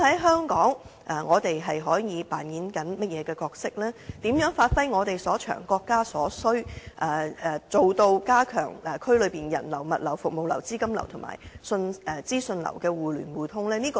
香港又可以擔當甚麼角色，以及如何發揮我們所長，配合國家所需，加強區內人流、物流、服務流、資金流和資訊流的互聯互通呢？